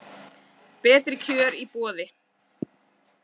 Betri kjör í boði